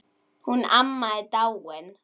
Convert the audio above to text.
Hún amma er dáin.